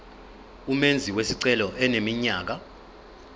umenzi wesicelo eneminyaka